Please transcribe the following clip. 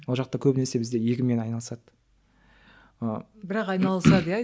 ол жақта көбінесе бізде егінмен айналысады ыыы бірақ айналысады иә